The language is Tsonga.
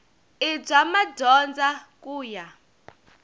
i bya madyondza ku ya